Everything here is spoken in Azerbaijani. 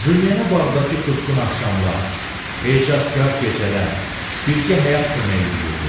Jyenə bağdakı tutqun axşamlar, ecazkar gecələr, birgə həyat kömək eləyirdi.